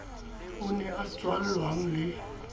o ne a tswallwang le